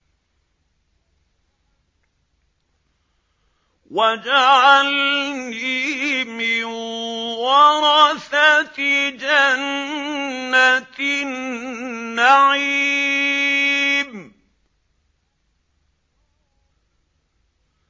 وَاجْعَلْنِي مِن وَرَثَةِ جَنَّةِ النَّعِيمِ